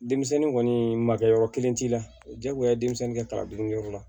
Denmisɛnnin kɔni ma kɛ yɔrɔ kelen t'i la diyagoya denmisɛnnin kɛta dun kɛyɔrɔ la